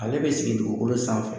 Ale bɛ sigi dugukolo sanfɛ